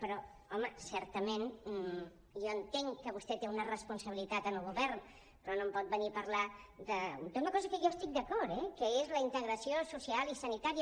però home certament jo entenc que vostè té una responsabilitat en el govern però no hem pot venir a parlar d’una cosa en què jo hi estic d’acord eh que és la integració social i sanitària